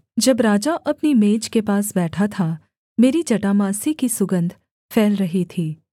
जब राजा अपनी मेज के पास बैठा था मेरी जटामासी की सुगन्ध फैल रही थी